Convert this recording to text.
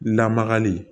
Lamagali